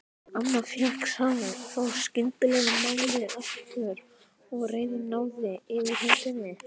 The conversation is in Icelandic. Amma fékk þá skyndilega málið aftur og reiðin náði yfirhöndinni.